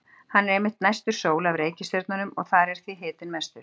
Hann er einmitt næstur sól af reikistjörnunum og þar er því hitinn mestur.